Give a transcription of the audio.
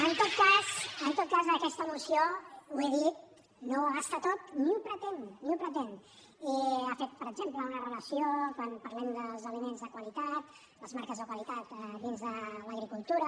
en tot cas aquesta moció ho he dit no ho abasta tot ni ho pretén ni ho pretén i ha fet per exemple una relació quan parlem dels aliments de qualitat les marques de qualitat dins de l’agricultura